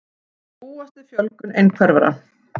Búast við fjölgun einhverfra